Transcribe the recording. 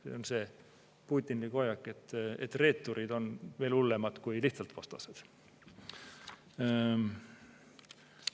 See on see Putini hoiak, et reeturid on veel hullemad kui lihtsalt vastased.